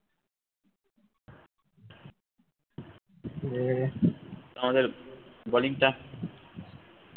এ আমাদের bowling টা